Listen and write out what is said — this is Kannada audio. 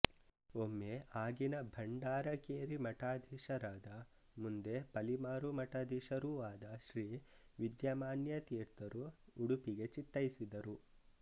ಒಮ್ಮೆ ಆಗಿನ ಭಂಡಾರಕೇರಿ ಮಠಾಧೀಶರಾದ ಮುಂದೆ ಫಲಿಮಾರು ಮಠಾಧೀಶರೂ ಆದ ಶ್ರೀ ವಿದ್ಯಾಮಾನ್ಯ ತೀರ್ಥರು ಉಡುಪಿಗೆ ಚಿತ್ತೈಸಿದರು